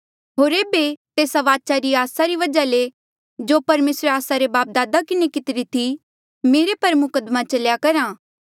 होर एेबे तेस्सा वाचा री आसा री वजहा ले जो परमेसरे आस्सा रे बापदादा किन्हें कितिरी थी मेरे पर मुकद्दमा चल्या करहा